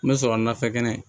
N bɛ sɔrɔ nafɛ kɛnɛ